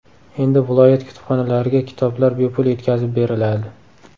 Endi viloyat kutubxonalariga kitoblar bepul yetkazib beriladi.